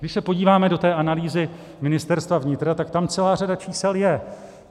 Když se podíváme do té analýzy Ministerstva vnitra, tak tam celá řada čísel je.